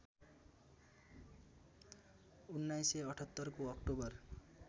१९७८ को अक्टोबर